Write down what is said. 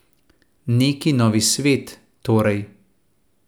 Neki novi svet, torej.